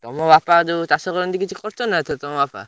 ତମ ବାପା ଯୋଉ ଚାଷ କରନ୍ତି କିଛି କରିଛନ୍ତି ନା ଏଇଥର ତମ ବାପା?